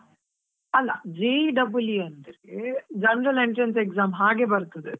ಅಲ್ಲಾ J double E ಅಂತ ಅಂದ್ರೆ, general entrance exam ಹಾಗೆ ಬರ್ತದೆ.